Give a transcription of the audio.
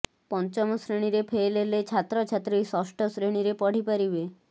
ପଞ୍ଚମ ଶ୍ରେଣୀରେ ଫେଲ୍ ହେଲେ ଛାତ୍ରଛାତ୍ରୀ ଷଷ୍ଠ ଶ୍ରେଣୀରେ ପଢିପାରିବେ